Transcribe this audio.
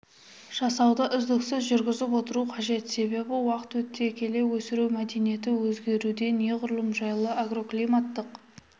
жасауды үздіксіз жүргізіп отыру қажет себебі уақыт өте келе өсіру мәдениеті өзгеруде неғұрлым жайлы агроклиматтық